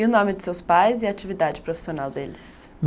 E o nome de seus pais e a atividade profissional deles?